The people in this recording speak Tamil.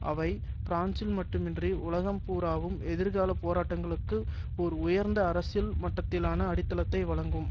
அவை பிரான்சில் மட்டுமன்றி உலகம் பூராவும் எதிர்கால போராட்டங்களுக்கு ஒரு உயர்ந்த அரசியல் மட்டத்திலான அடித்தளத்தை வழங்கும்